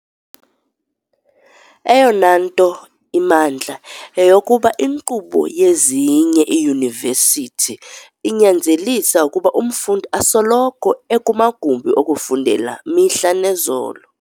Eyona nto imandla, yeyokokuba inkqubo yezinye iiyunivesithi inyanzelisa ukuba umfundi asoloko ekumagumbi okufundela, mihla nezolo.